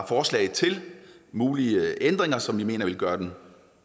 forslag til mulige ændringer som vi mener vil gøre det